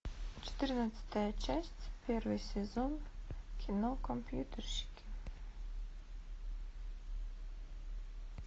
четырнадцатая часть первый сезон кино компьютерщики